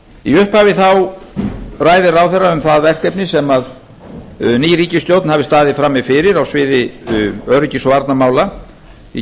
í upphafi ræðir ráðherra um það verkefni sem ný ríkisstjórn hafi staðið frammi fyrir á sviði öryggis og varnarmála í